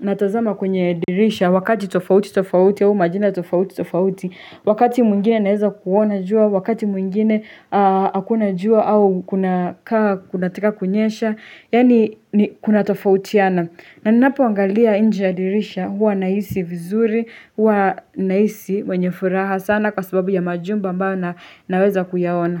natazama kwenye dirisha, wakati tofauti tofauti au majira tofauti tofauti, wakati mwingine naweza kuona jua, wakati mwingine hakuna jua au kunakaa kunataka kunyesha, yaani kunatofautiana. Na ninapoangalia nje ya dirisha huwa nahisi vizuri, huwa nahisi mwenye furaha sana kwa sababu ya majumba ambayo naweza kuyaona.